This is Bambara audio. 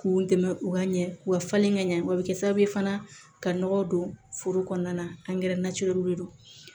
K'u dɛmɛ u ka ɲɛ u ka falen ka ɲɛ wa a bɛ kɛ sababu ye fana ka nɔgɔ don foro kɔnɔna na angɛrɛ de do